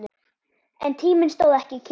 En tíminn stóð ekki kyrr.